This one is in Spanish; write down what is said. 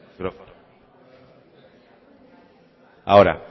ahora